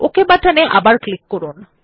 okay বাটনে আবার click করুন